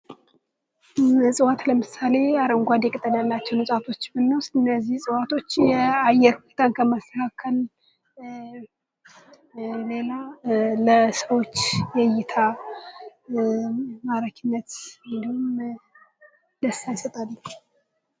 እጽዋት ለምሳሌ አረንጓዴ ቅጠል ያላቸውን እፅዋቶች ብንወስድ እነዚህ እፅዋቶች የአየር ብክለት በማስተካከል ከዚህ ሌላ ለሰዎች እይታ ማራኪነት እንዲሁም ደስታ ይሰጣሉ።